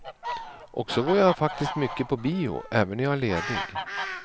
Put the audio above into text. Och så går jag faktiskt mycket på bio, även när jag är ledig.